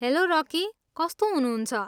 Hello Rocky. कस्तो हुनुहुन्छ?